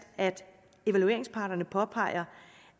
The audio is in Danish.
at evalueringsparterne påpeger